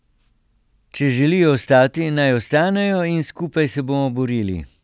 Če želijo ostati, naj ostanejo in skupaj se bomo borili.